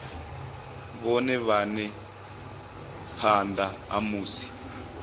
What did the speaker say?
vhone vhane phanda ha musi